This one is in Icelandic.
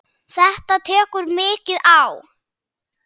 Þetta tekur mikið á.